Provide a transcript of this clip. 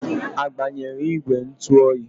A gbanyere ìgwè ntụ oyi?